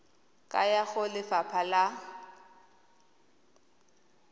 ka ya go lefapha la